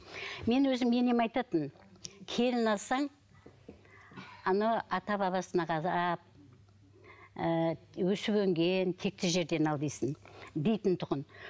мен өзім енем айтатын келін алсаң ана ата бабасына қарап ыыы өсіп өнген текті жерден ал дейтін тұғын